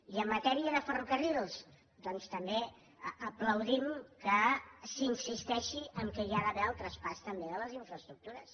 i en matèria de ferrocarrils doncs també aplaudim que s’insisteixi que hi ha d’haver el traspàs també de les infraestructures